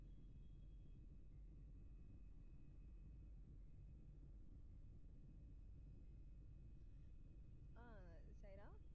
ஆஹ் Saira